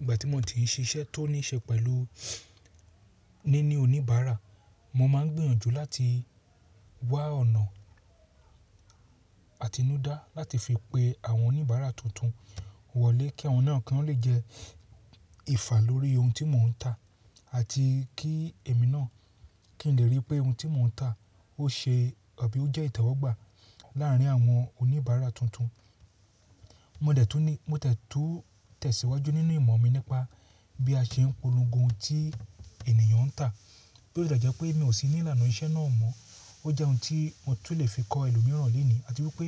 Ìgbà tí mo ti ń ṣiṣẹ́ tó ní ṣe pẹ̀lú níní oníbàárà, mo máa ń gbìyànjú láti wá ọ̀nà àtinúdá láti fi pe àwọn oníbàárà tuntun wọlé kí àwọn náà kí wọ́n lè jẹ ìfà lórí ohun tí mò ń tà àti kí èmi náà kí n lè rí pé ohun tí mò ń tà ó ṣe àbí ó jẹ́ ìtọ́wọ̀gbà láàrín àwọn oníbàárà tuntun. Mo dẹ̀ tú tẹ̀síwájú nínú ìmọ̀ mi nípa bí a ṣe ń polongo ohun tí ènìyàn ń tà, bí ó tilẹ jẹ́ pé mi ò sí ní ìlànà iṣẹ́ náà mọ́. Ó jẹ́ ohun tí mo tún lè fi kọ ẹlòmíràn lónìí àti wípé